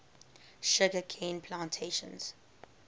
sugar cane plantations